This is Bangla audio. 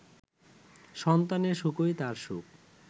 সন্তানের সুখই তার সুখ